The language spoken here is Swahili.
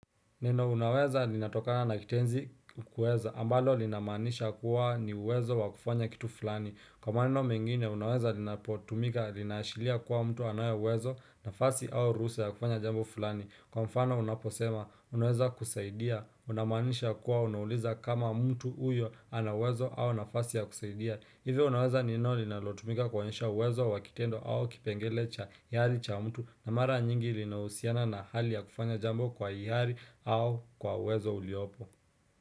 Neno unaweza linatoka na kitenzi kuweza ambalo linamanisha kuwa ni uwezo wa kufanya kitu fulani kwa maneno mengine unaweza linapotumika linashilia kuwa mtu anaye uwezo nafasi au ruhusa ya kufanya jambo fulani kwa mfano unaposema unaweza kusaidia unamanisha kuwa unauliza kama mtu uyo anauwezo au nafasi ya kusaidia hivyo unaweza neno linalotumika kuonyesha uwezo wa kitendo au kipengele cha hiyari cha mtu na mara nyingi linahusiana na hali ya kufanya jambo kwa hiyari au kwa uwezo uliopo.